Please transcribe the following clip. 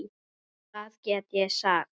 Hvað get ég sagt.